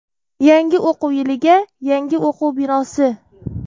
Yangi o‘quv yiliga — yangi o‘quv binosi.